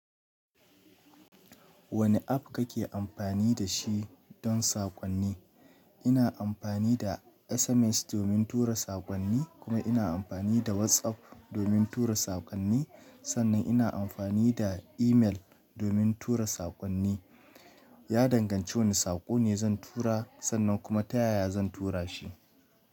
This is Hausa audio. Wane app kake amfani da shi don sakonni? Ina amfani da SMS domin tura sakonni, kuma ina amfani da WhatsApp domin tura sakonni. Sannan ina amfani da email domin tura sakonni. Ya danganci wane sako ne zan tura, sannan kuma ta yaya zan tura shi.